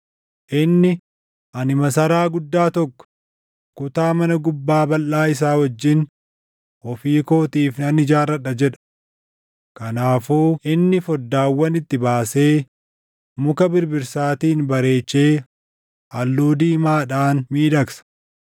Inni, ‘Ani masaraa guddaa tokko, kutaa mana gubbaa balʼaa isaa wajjin // ofii kootiif nan ijaarradha’ jedha. Kanaafuu inni foddaawwan itti baasee muka birbirsaatiin bareechee halluu diimaadhaan miidhagsa.